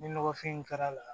Ni nɔgɔfin in kɛra la